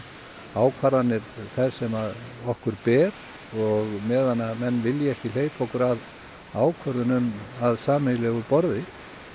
ákvarðanir þær sem okkur ber og á meðan menn vilja ekki hleypa okkur að ákvörðunum að sameiginlegu borði